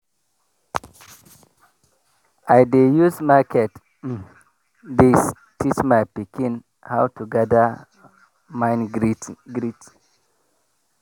i dey use market um days teach my pikin how to gather mind greet